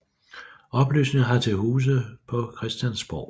Oplysningen har til huse på Christiansborg